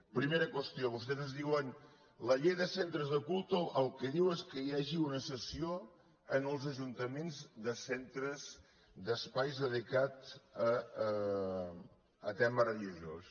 primera qüestió vostès ens diuen la llei de centres de culte el que diu és que hi hagi una cessió als ajuntaments de centres d’espais dedicats a tema religiós